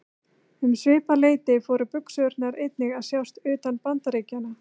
Um svipað leyti fóru buxurnar einnig að sjást utan Bandaríkjanna.